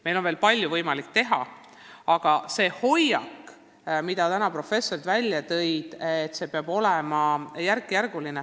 Meil on veel palju võimalik teha, aga professorite täna välja toodud hoiak on selline, et see peab olema järkjärguline.